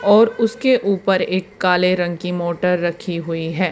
और उसके ऊपर एक काले रंग की मोटर रखी हुई है।